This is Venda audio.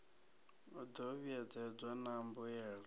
i do vhuedzedzwa na mbuelo